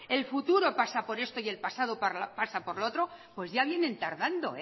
el futuro pasa por esto y el pasado pasa por lo otro ya vienen tardando